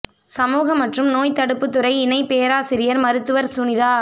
சமூக மற்றும் நோய் தடுப்புத்துறை இணைப் பேராசிரியர் மருத்துவர் சுனிதா